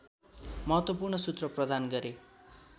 महत्त्वपूर्ण सूत्र प्रदान गरे